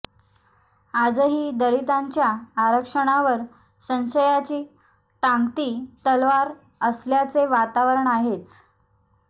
आजही दलितांच्या आरक्षणावर संशयाची टांगती तलवार असल्याचे वातावरण आहेच